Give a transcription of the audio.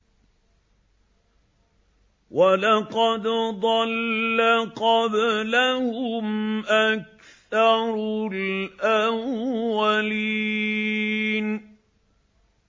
وَلَقَدْ ضَلَّ قَبْلَهُمْ أَكْثَرُ الْأَوَّلِينَ